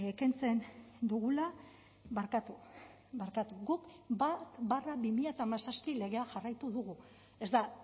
kentzen dugula barkatu barkatu guk bat barra bi mila hamazazpi legea jarraitu dugu ez da